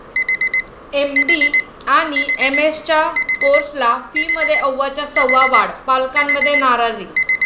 MD आणि एमएसच्या कोर्सच्या फीमध्ये अव्वाच्या सव्वा वाढ, पालकांमध्ये नाराजी